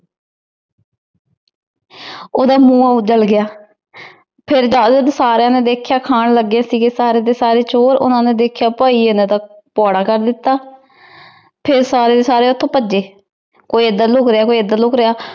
ਓਹਦੇ ਮੁਹ ਜਲ ਗਯਾ ਫੇਰ ਜਾਗ ਕੇ ਸਾਰੀਆਂ ਨੇ ਦੇਖ੍ਯਾ ਖਾਨ ਲਾਗੇ ਸੀਗੇ ਸਾਰੇ ਦੇ ਸਾਰੇ ਚੋਰ ਭੈਯੇ ਨੇ ਦੇਖ੍ਯਾ ਪੁਆਰ ਕਰ ਦਿਤਾ ਫੇਰ ਸਾਰੇ ਡੀ ਸਾਰੇ ਓਥੋਂ ਪਾਜੇ ਕੋਈ ਏਡ੍ਰ ਲੁਕ ਰਯ ਕੋਈ ਏਡ੍ਰ ਲੁਕ ਰਯ